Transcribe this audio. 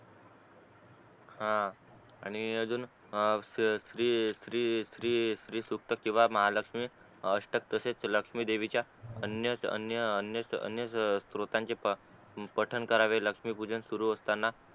हा आणि अजून ए ए फ्री फ्री फ्री फ्री सूक्त किंवा महालक्ष्मी अष्टक तसेच लक्ष्मी देवीच्या अन्य अन्य अन्य स्त्रोतांचे पठण करावे लक्ष्मी पूजन सुरु असताना